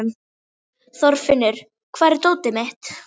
Þorfinnur, hvar er dótið mitt?